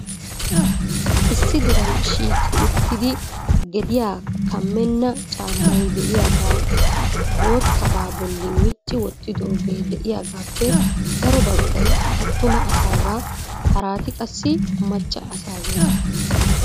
Issi diran shiiqi uttidi gediyaa kammena caammay de'iyaaga boottaaba bolli micci wottidoogee de'iyaappe daro baggaay attuma asaaga harati qassi macca assageeta.